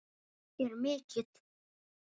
er mikill.